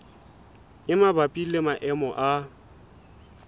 e mabapi le maemo a